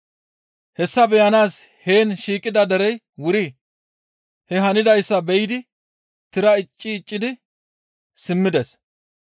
Hessa beyanaas heen shiiqidi derey wuri he hanidayssa be7idi tira icci iccidi simmides.